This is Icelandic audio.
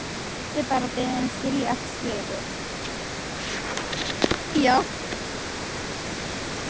Yrði bara beðin að skilja eftir skilaboð.